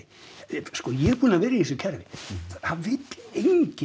sko ég er búinn að vera í þessu kerfi það vill enginn